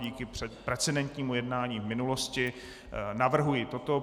Díky precedentnímu jednání v minulosti navrhuji toto.